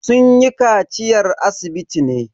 Sun yi kaciyar asibiti ne.